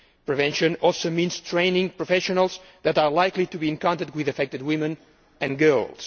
Prevention also means training professionals who are likely to be in contact with affected women and girls.